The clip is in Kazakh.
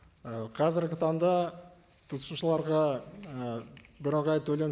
ы қазіргі таңда тұтынушыларға ы бірыңғай төлем